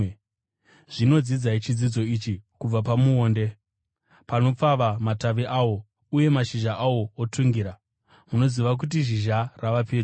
“Zvino dzidzai chidzidzo ichi kubva pamuonde: Panopfava matavi awo uye mashizha awo otungira, munoziva kuti zhizha rava pedyo.